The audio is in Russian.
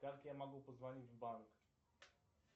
как я могу позвонить в банк